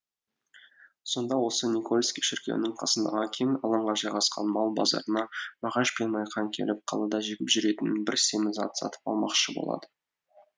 сонда осы никольский шіркеуінің қасындағы кең алаңға жайғасқан мал базарына мағаш пен майқан келіп қалада жегіп жүретін бір семіз ат сатып алмақшы болады